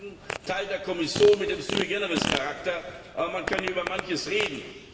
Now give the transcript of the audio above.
Wir sagen Teil der Kommission mit dem sui generis Charakter man kann ja über manches reden.